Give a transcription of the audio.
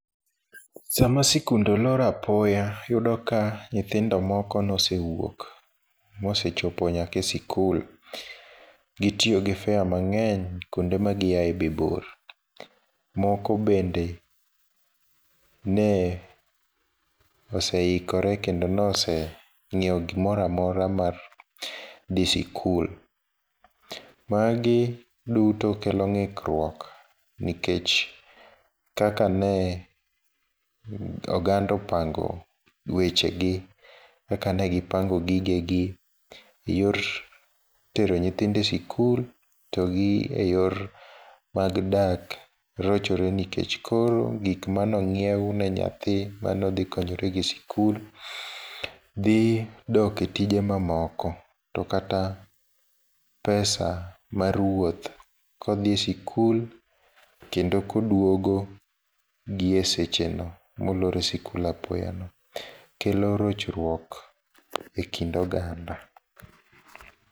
Sama sikunde olor apoya, iyudo ka nyithindo moko nosewuok mosechopo nyaka e sikul. Gitiyo gi fare mangény kuonde ma giae be bor. Moko bende ne oseikore kendo nose nyiewo gimoro amora mar dhi sikul. Magi duto kelo ngíkruok nikech kaka ne oganda opango wechegi, kakane gipango gigegi, e yor tero e nyithindo e siku, to gi e yor mag dak, rochore. Nikech koro gik mane onyiew ne nyathi mane odhi konyore go e sikul, dhi dok e tije mamoko. To kata pesa mar wuoth ka odhi sikul, kendo koduogo gi e sechego, molor e sikul apoya no, kelo rochruok e kind oganda.